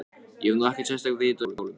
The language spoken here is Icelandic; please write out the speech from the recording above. Ég hef nú ekkert sérstakt vit á hjólum.